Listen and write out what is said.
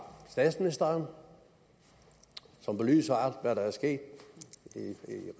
statsministeren som belyser hvad der er sket i